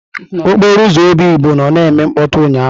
Okporo ụzọ Obigbo nnọ na-eme mkpọtụ ụnyahụ.